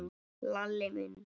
Lalli minn?